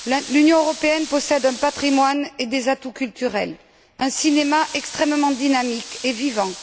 L'Union européenne possède un patrimoine et des atouts culturels, un cinéma extrêmement dynamique et vivant.